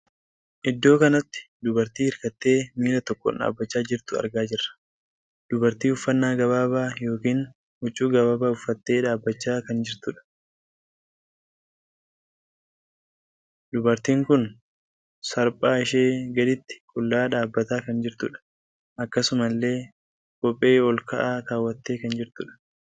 Iddoo kanatti dubartii hirkattee miilla tokkoon dhaabbachaa jirtuu argaa jirra. Dubartii uffannaa gabaabaa ykn huccuu gabaabaa uffattee dhaabbachaa kan jirtuudha. Dubartiin kun sarpaa ishee gadiitti qullaa dhaabbataa kan jirtuudha. Akkasuma illee kophee ol kaa'aa kaawwattee kan jirtuudha.